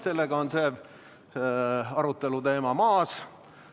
Sellega on see aruteluteema maas.